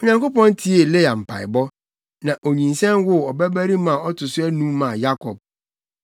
Onyankopɔn tiee Lea mpaebɔ, na onyinsɛn woo ɔbabarima a ɔto so anum maa Yakob.